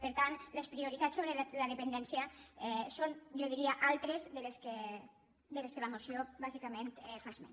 per tant les prioritats sobre la dependència són jo diria altres de les que la moció bàsicament en fa esment